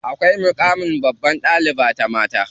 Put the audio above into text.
Akwai muƙamin babbar ɗaliba ta mata.